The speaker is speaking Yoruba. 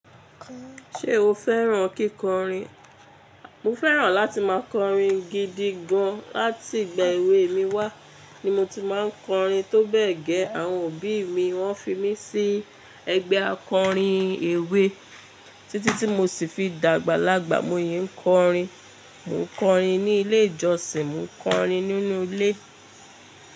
Ṣé o fẹ́ràn kíkọrin? Mo fẹ́ràn láti máa kọrin gidi gan. Láti ìgbà èwe mi wá ni mo ti máa ń kọrin, tó bẹ́ẹ̀ gẹ́ àwọn òbí mi wọ́n fi mí sí ẹgbẹ́ akọrin èwe títí tí mo sì fi dàgbà lágbà. Mo yẹn ń kọrin. Mo ń kọrin ní ilé ìjọsìn, mo ń kọrin nínú ilé.